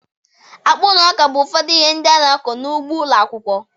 Akpụ na ọka bụ ụfọdụ ihe ndị a na-akụ n'ugbo ụlọ akwụkwọ.